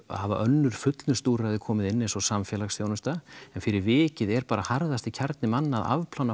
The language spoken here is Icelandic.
hafa önnur fullnustuúrræði komið inn eins og samfélagsþjónusta en fyrir vikið er bara harðasti kjarni manna að afplána